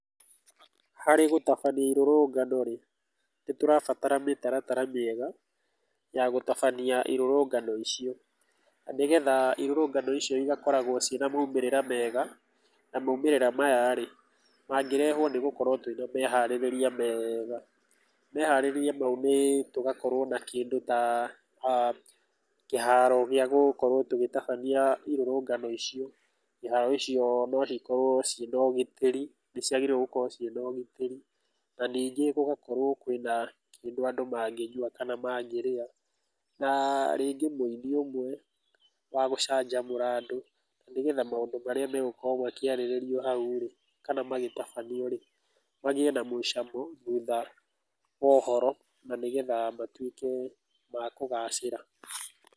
Harĩ gũtabania irũrũnganorĩ, nĩ tũrabatara mĩtaratara mĩega, ya gũtabania irũrũngano icio, na nĩgetha irũrũngano icio igakoragwo cina maimĩrĩra mega, na maimĩrĩra mayaĩ, mangĩrehwo nĩgũkorwo twĩna meharĩrĩria meega, meharĩrĩria mau nĩ tũgakorwo na kĩndũ ta aah kĩharo gĩa gũkorwo tũgĩtabania irũrũngano icio, iharo icio no cikorwo cíiĩna ũgitĩri, nĩ ciagĩrĩirwo gũkorwo ciĩna ũgitĩri, na ningĩ gũgakorwo kwina kĩndũ andũ mangĩnyua, kana mangĩrĩa, na rĩngĩ mwĩĩni ũmwe wa gũcanjamũra andũ, na nĩ getha maũndũ marĩa megũkorwo makĩarĩrĩrio hauĩ, kana magĩtabanioĩ, magĩe na mũcamo thutha wa ũhoro na matwĩke ma kũgacĩra